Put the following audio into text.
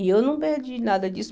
E eu não perdi nada disso.